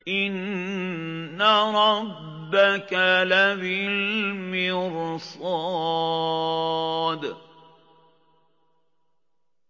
إِنَّ رَبَّكَ لَبِالْمِرْصَادِ